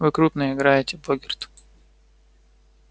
вы крупно играете богерт